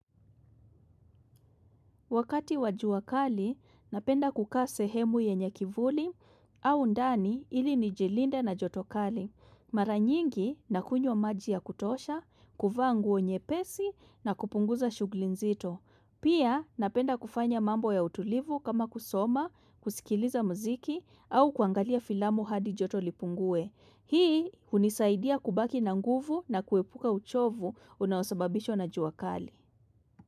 Wakati wa jua kali, napenda kukaa sehemu yenye kivuli au ndani ili nijilinde na joto kali. Mara nyingi nakunywa maji ya kutosha, kuvaa nguo nyepesi na kupunguza shughuli nzito. Pia napenda kufanya mambo ya utulivu kama kusoma, kusikiliza muziki au kuangalia filamu hadi joto lipungue. Hii hunisaidia kubaki na nguvu na kuepuka uchovu unaosababishwa na jua kali.